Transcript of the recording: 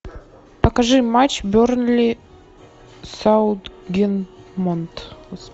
покажи матч бернли саутгемптон